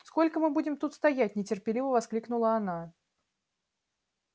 сколько мы будем тут стоять нетерпеливо воскликнула она